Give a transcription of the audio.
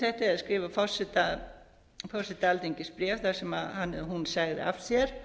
þetta eða skrifa forseta alþingis bréf þar sem hann eða hún segði af sér